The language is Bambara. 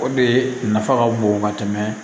O de nafa ka bon ka tɛmɛ